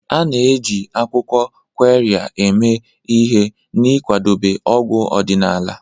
A na-eji akwụkwọ Qirya eme ihe n'ịkwadebe ọgwụ ọdịnala.